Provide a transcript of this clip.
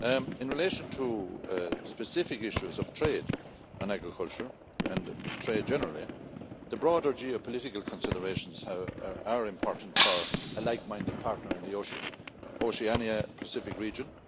In relation to specific issues of trade and agriculture, and trade generally, the broader geopolitical considerations are important for a like minded partner in the Oceania Pacific region.